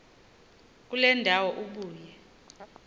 kule ndawo ubuye